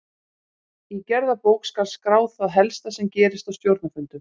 Í gerðabók skal skrá það helsta sem gerist á stjórnarfundum.